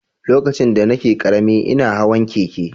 Lokacin da nake ƙarami, ina hawan keke.